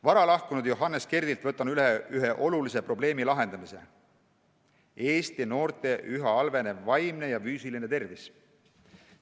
Varalahkunud Johannes Kerdilt võtan üle ühe olulise probleemi lahendamise: see on Eesti noorte üha halvenev vaimne ja füüsiline tervis.